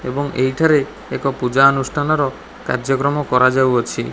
ଏବଂ ଏଇ ଠାରେ ଏକ ପୂଜା ଅନୁଷ୍ଠାନର କାର୍ଯ୍ୟକ୍ରମ କରାଯାଉଅଛି।